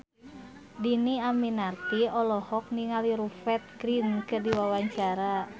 Dhini Aminarti olohok ningali Rupert Grin keur diwawancara